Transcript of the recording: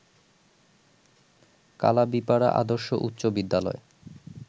কালাবিপাড়া আদর্শ উচ্চ বিদ্যালয়